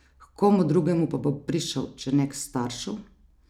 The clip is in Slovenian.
H komu drugemu pa bo prišel, če ne k staršu?